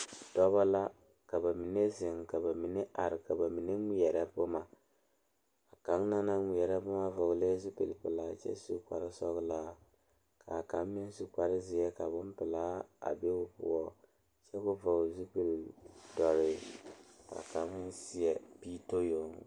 Pɔgeba ane bibiiri la ka bondire a kabɔɔti poɔ ka talaare be a be poɔ kaa kodo vaare meŋ be a be kaa bie kaŋa a iri gaŋe.